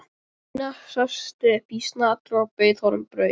Nína settist upp í snatri og bauð honum brauð.